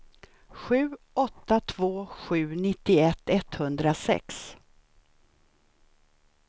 sju åtta två sju nittioett etthundrasex